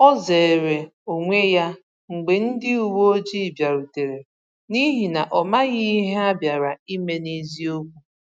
O zeere onwe ya mgbe ndị uwe ojii bịarutere, n’ihi na ọ maghị ihe ha bịara ime n’eziokwu.